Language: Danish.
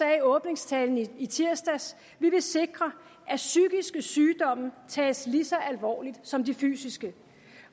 i åbningstalen i tirsdags sikre at psykiske sygdomme tages lige så alvorligt som de fysiske